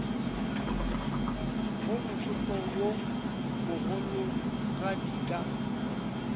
go mothopo wo mogologadi ka